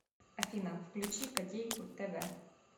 афина включи котейку тэ вэ